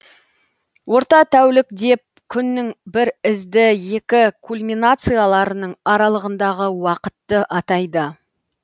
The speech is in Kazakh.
орта тәулік деп күннің бір ізді екі кульминацияларының аралығындағы уақытты атайды